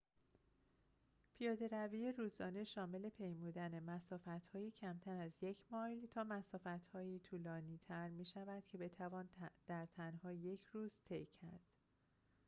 پیاده‌روی روزانه شامل پیمودن مسافت‌هایی کمتر از یک مایل تا مسافت‌های طولانی‌تر می‌شود که بتوان در تنها یک روز طی کرد